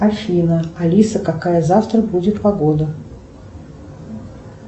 афина алиса какая завтра будет погода